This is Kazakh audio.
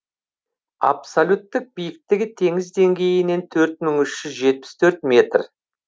абсолюттік биіктігі теңіз деңгейінен төрт мың үш жүз жетпіс төрт метр